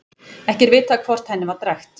Ekki er vitað hvort henni var drekkt.